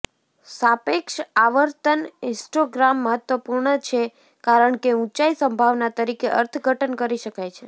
સાપેક્ષ આવર્તન હિસ્ટોગ્રામ મહત્વપૂર્ણ છે કારણ કે ઊંચાઈ સંભાવના તરીકે અર્થઘટન કરી શકાય છે